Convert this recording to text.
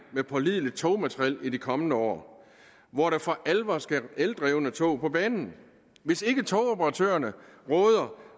med pålideligt togmateriel i de kommende år hvor der for alvor skal eldrevne tog på banen hvis ikke togoperatørerne råder